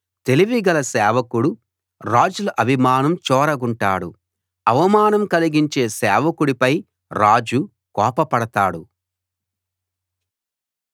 తెలివి గల సేవకుడు రాజుల అభిమానం చూరగొంటాడు అవమానం కలిగించే సేవకుడి పై రాజు కోప పడతాడు